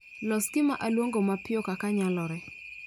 Los gima aluongo mapiyo kaka nyalore